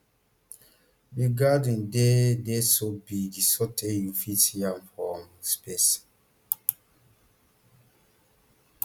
di gathering dey dey so bg sotey you fit see am from space